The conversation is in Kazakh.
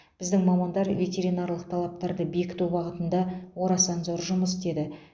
біздің мамандар ветеринарлық талаптарды бекіту бағытында орасан зор жұмыс істеді